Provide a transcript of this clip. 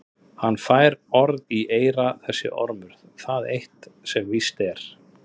Hann fær orð í eyra þessi ormur, það er eitt sem víst er.